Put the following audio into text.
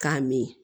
K'a min